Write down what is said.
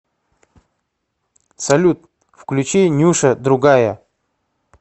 салют включи нюша другая